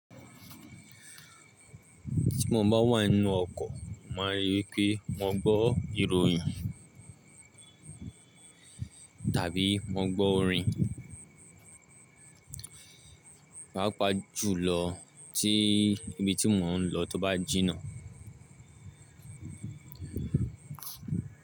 Tí mo bá wà nínú ọkọ̀, mo màá n rí wípé mo gbọ́ ìròyìn tàbí mo gbọ́ orin, pàápàá jùlọ tí ibi tí mò ń lọ tó bá jìnnà.